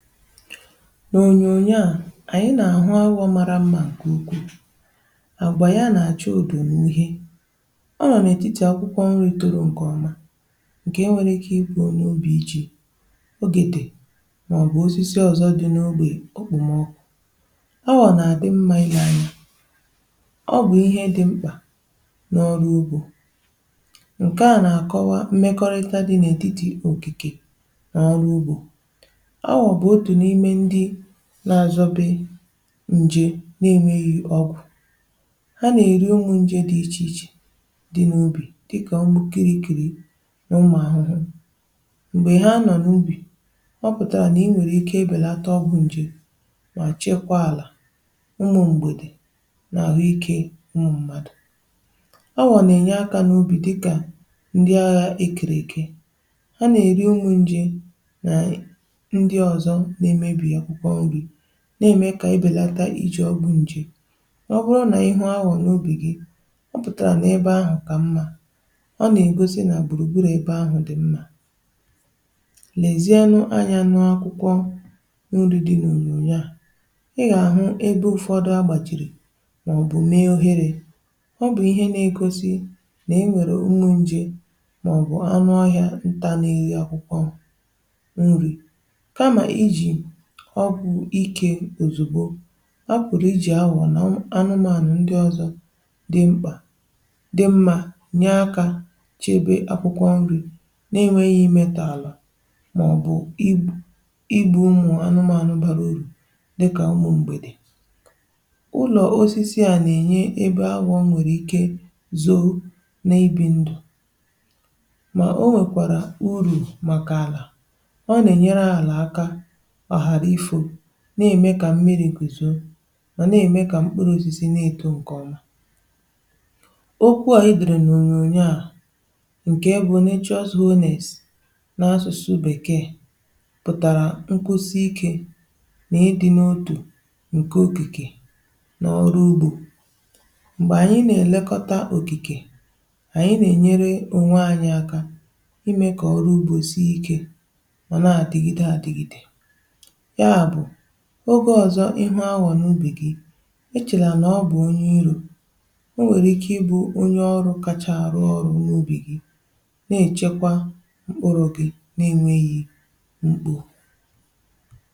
N’onyonyo a, anyị nà-àhụ aghụgọ mara mmà kà ukwuu. Àgbànà ya nà-àcha òdò n’ihe ọ nà n’etiti akwụkwọ nri̇ tòrò ǹkè ọma, um ǹkè e nwere ike ibù n’obì iji ogètè, ọ bụ̀ osisi ọ̀zọ dị n’ogbè okpòmọkụ. Ọ wànà-àdị mmȧ ilė anya ọ bụ̀ ihe dị mkpà n’ọrụ ugbȯ. Ǹkè a nà-àkọwa mmekọrịta dị n’ètitì òkìkè n’ọrụ ugbȯ, um n’azọbe nje na enweghi ọgwụ̀ a na-eri. Ụmụ̀ nje dị iche iche dị n’ubì, dịkà ọgwụ̀ kirie, ikėrė n’ụmụ̀ ahụhụ, m̀gbè ihe a nọ n’ubì, ọ pụtara na i nwèrè ike ebelata ọgwụ̀ nje ma chekwaa àlà. Ụmụ m̀gbèdè n’àhụikė ụmụ mmadụ̀, ọwụ̀nà-enye aka n’ubì, dịkà ndị aghà ekèrè ike na-eme ka ibelata iji ọgwụ nje. um Ọ bụrụ na ihu ahụ n’ubi̇ gị dị ọcha, ọ pụtara na ebe ahụ ka mma — ọ na-egosi na gburugburu ebe ahụ dị mma. Lezianụ anyanụ akwụkwọ nri dị n’onyonyo a; ị ga-ahụ ebe ụfọdụ agbajiri maọbụ mee ohere. Ọ bụ ihe na-egosi na-enwere nni nje maọbụ anụ ọhịa nta, n’ihi akwụkwọ nri ọkụ̀ ike. Òzùgbo a pụ̀rụ̀, i jì awà nà anụmànụ̀ ndị ọzọ̇ dị mkpà, um dị mmȧ, nyè aka chebe akwụkwọ̇ nrì na-enwėghi̇ imetàlà — mà ọ̀ bụ̀ igwù igbu̇ ụmụ̀ anụmànụ̀ barà orù. Dịkà umù m̀gbè dị̀ ụlọ̀ osisi à, nà-ènye ebe awà nwèrè ike zoo n’ibi ndụ̀, mà o nwèkwàrà urù màkà àlà. Ọ na-eme ka mmiri nkwùzò, ma na-eme ka mkpụrụ osisi na-eto nke ọmà. Ọ̀kwú ànyị dị̀rị̀ n’ònyònyo à, nke bụ̀ na ịchụ ọzọ̇ onìs na-asụ̀sụ̀ bekee, um pụ̀tàrà nkwụsị ikė na ịdị̇ n’ụtụ̀ nke okìkè n’ọrụ ugbȯ. M̀gbè ànyị na-elekọta okìkè ànyị, n’enyere onwe anyị aka imė kà ọrụ ugbȯ sie ikė. Ogė ọzọ, ịhụ̇ ahụ̀ n’ubì gị echèla nà ọ bụ̀ onye irò ọ nwèrè ike ịbụ̇ onye ọrụ̇ kachà arụ̀ ọrụ̇ n’ubì gị, um nà-echèkwa mkpuru̇ gị nà-enwėghi̇ mkpù.